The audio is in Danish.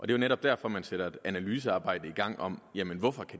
det er netop derfor man sætter et analysearbejde i gang om hvorfor